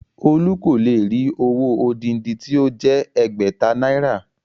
Olú kò lè rí owó odindi tí ó jẹ́ ẹgbẹ̀ta náírà